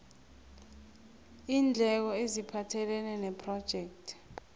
iindleko eziphathelene nephrojekthi